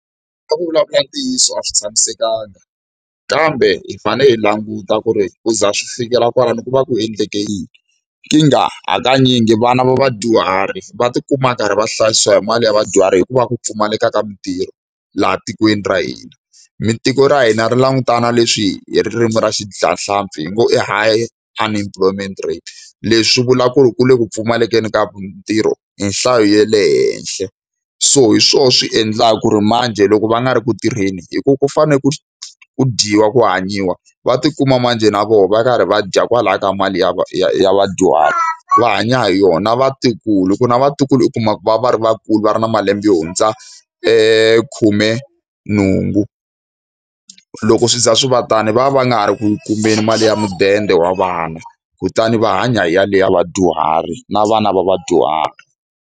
ku vulavula ntiyiso a swi tshamisekanga, kambe hi fanele hi languta ku ri ku za swi fikela kwalano ku va ku endleke yini. Nkingha hakanyingi vana va vadyuhari va tikuma va karhi va hlayisiwa hi mali ya vadyuhari hikuva ku pfumaleka ka mintirho laha tikweni ra hina. tiko ra hina ri langutane na leswi hi ririmi ra vadyahlampfi hi ngo i high unemployment rate. Leswi swi vula ku ri ku le ku pfumalekeni ka ntirho hi nhlayo ya le henhla. So hi swona swi endlaka ku ri manjhe loko va nga ri ku tirheni, hikuva ku fanele ku ku dyiwa, ku hanyiwa, va tikuma manjhe na vona va karhi va dya kwalaya ka mali ya ya ya vadyuhari. Va hanya hi yona na vatukulu hikuva na vatukulu u kuma ku va va va ri vakulu, va ri na malembe yo hundza khumenhungu. Loko swo za swi va tani va va va nga ha ri ku kumeni mali ya mudende wa vana, kutani va hanya hi yaleyo ya vadyuhari na vana va vadyuhari.